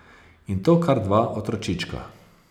In to kar dva otročička.